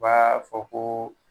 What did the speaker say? U b'a fɔ ko